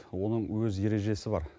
оның өз ережесі бар